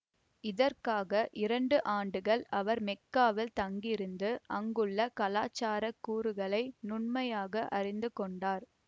இதற்காக இரண்டு ஆண்டுகள் அவர் மெக்காவில் தங்கியிருந்து அங்குள்ள கலாச்சார கூறுகளை நுண்மையாக அறிந்து கொண்டார்